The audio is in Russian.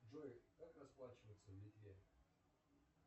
джой как расплачиваться в литве